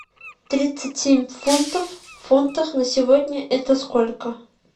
тридцать семь фунтов в фунтах на сегодня это сколько